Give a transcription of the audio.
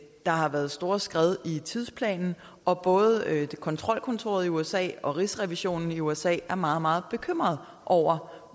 der har været store skred i tidsplanen og både kontrolkontoret i usa og rigsrevisionen i usa er meget meget bekymrede over